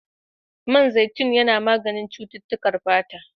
Man zaitun yana maganin cutukan fata.